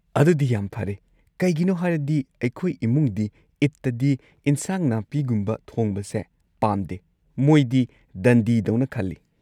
ꯑꯗꯨꯗꯤ ꯌꯥꯝ ꯐꯔꯦ, ꯀꯩꯒꯤꯅꯣ ꯍꯥꯢꯔꯗꯤ ꯑꯩꯈꯣꯏ ꯏꯃꯨꯡꯗꯤ ꯏꯗꯇꯗꯤ ꯏꯟꯁꯥꯡ ꯅꯥꯄꯤꯒꯨꯝꯕ ꯊꯣꯡꯕꯁꯦ ꯄꯥꯝꯗꯦ, ꯃꯣꯏꯗꯤ ꯗꯟꯗꯤ ꯗꯧꯅ ꯈꯜꯂꯤ꯫